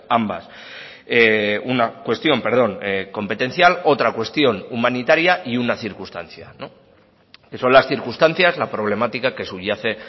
ambas una cuestión perdón competencial otra cuestión humanitaria y una circunstancia son las circunstancias la problemática que subyace